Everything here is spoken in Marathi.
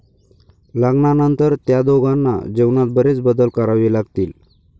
लग्नानंतर त्या दोघांना जीवनात बरेच बदल करावे लागतील.